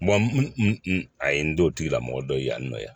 a ye n to o tigila mɔgɔ dɔ ye yan nɔ yan